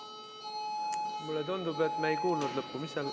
Mulle tundub, et me ei kuulnud lõppu.